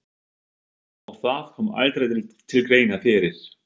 Og það kom aldrei til greina fyrir